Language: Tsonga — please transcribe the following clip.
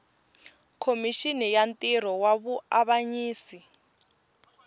khomixini ya ntirho wa vuavanyisi